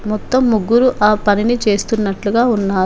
మొత్తం ముగ్గురు ఆ పనిని చేస్తున్నట్లుగా ఉన్నారు.